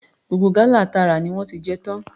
Gbogbo gálà ta rà ni wọ́n ti jẹ tán.